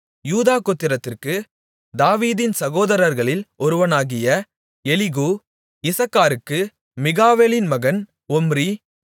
யூதா கோத்திரத்திற்கு தாவீதின் சகோதரர்களில் ஒருவனாகிய எலிகூ இசக்காருக்கு மிகாவேலின் மகன் ஒம்ரி